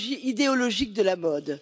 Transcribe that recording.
idéologiques de la mode.